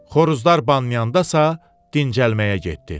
Xoruzlar banlayandasa dincəlməyə getdi.